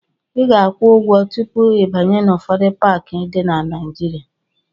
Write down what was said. Ị ga-akwụ ụgwọ tupu ịbanye n'ụfọdụ paakị dị na Naịjịrịa.